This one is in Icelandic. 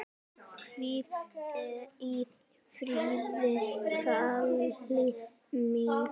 Hvíl í friði, Fanný mín.